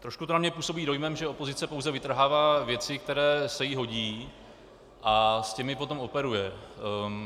Trošku to na mě působí dojmem, že opozice pouze vytrhává věci, které se jí hodí, a s těmi potom operuje.